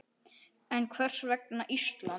En hvers vegna Ísland?